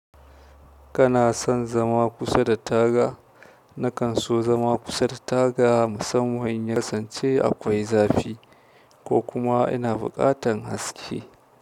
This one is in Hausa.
Kana son zama kusa da taga? Nakan so zama kusa da taga musamman in ya kasance akwai zafi ko kuma ina buƙatan haske.